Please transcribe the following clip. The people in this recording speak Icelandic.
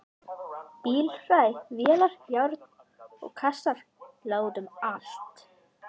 Bílhræ, vélar, járn og kassar lágu út um allt.